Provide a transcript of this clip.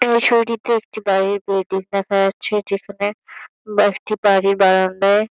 এই ছবিটিতে একটি বাড়ির দেখা যাচ্ছে। এটি এখানে একটি বাড়ির বারান্দায়--